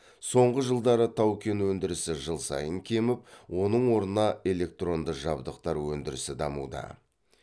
соңғы жылдары тау кен өндірісі жыл сайын кеміп оның орнына электронды жабдықтар өндірісі дамуда